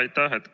Aitäh!